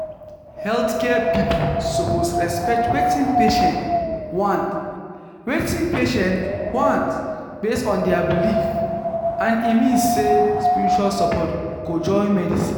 healthcare people suppose respect wetin patients want wetin patients want based on their belief and e mean say spiritual support go join medicine